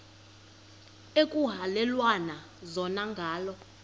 ekuhhalelwana zona ngala